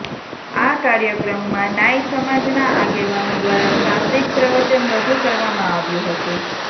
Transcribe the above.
આ કાર્યક્રમમાં નાઈ સમાજના આગેવાનો દ્વારા શાબ્દિક પ્રવચન રજૂ કરવામાં આવ્યું હતું